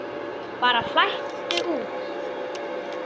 Bara flæddu út.